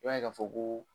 I b'a ye k'a fɔ ko